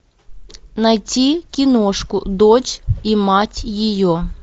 найти киношку дочь и мать ее